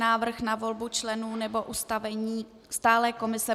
Návrh na volbu členů nebo ustavení stálé komise